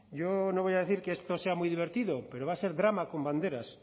yo no voy a decir que esto sea muy divertido pero va a ser drama con banderas